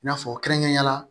I n'a fɔ kɛrɛnkɛrɛnnenya la